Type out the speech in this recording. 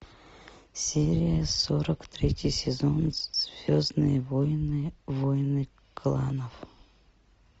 серия сорок третий сезон звездные войны войны кланов